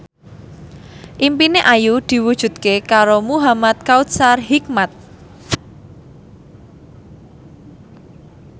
impine Ayu diwujudke karo Muhamad Kautsar Hikmat